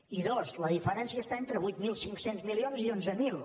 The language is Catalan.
i dos la diferència està entre vuit mil cinc cents milions i onze mil